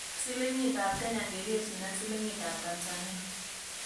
Silingiitap kenya ngekerchin ak silingitap tanzania